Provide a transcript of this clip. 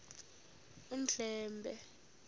undlambe